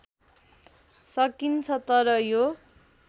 सकिन्छ तर यो